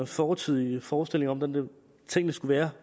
fortidig forestilling om hvordan tingene skulle være